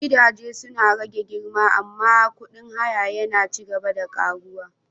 Gidaje suna rage girma amma kudin haya yana ci gaba da ƙaruwa.